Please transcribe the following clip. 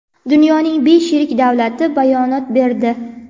Dunyoning besh yirik davlati bayonot berdi.